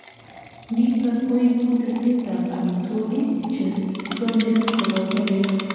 niton koibu teset ab amitwogik chesomis koboto beek